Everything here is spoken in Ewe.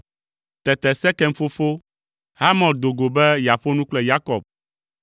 Tete Sekem fofo, Hamor do go be yeaƒo nu kple Yakob.